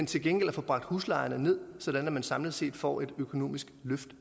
til gengæld få bragt huslejerne ned sådan at man samlet set får et økonomisk løft